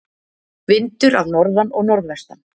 Vindur af norðan og norðvestan